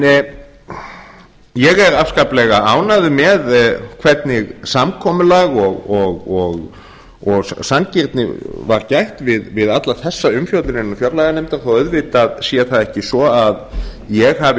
ég er afskaplega ánægður með hvernig samkomulag og sanngirni var gætt við alla þessa umfjöllun innan fjárlaganefndar þó auðvitað sé það ekki svo að ég hafi